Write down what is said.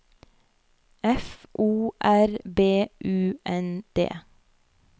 F O R B U N D